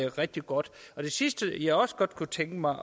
rigtig godt det sidste jeg også godt kunne tænke mig